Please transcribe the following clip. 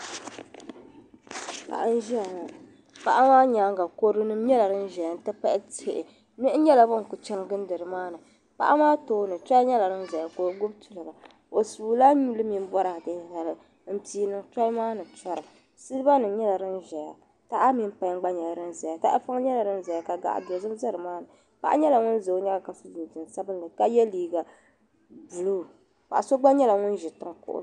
Paɣa n ʒiya ŋɔ paɣa maa nyaaŋa kodunim nyela din ʒeya n ti pahi tihi niɣi nyela ban kuli chani gilindi ni maa ni paɣa maa tooni toli nyela din ʒeya ka o gbubi tuliga o suula nyuli mini boraadei zali m pii niŋ toli maa ni n tɔra silibanim nyela din ʒeya taha mini payin gba nyela din zaya tahapɔŋ nyela din zaya ka gaɣi dozim za ni maa ni paɣa nyela ŋun za o nyaaŋa ka so jinjam sabinli ka ye liiga buluu paɣa so gba nyela ŋun ʒi tiŋ kuɣu.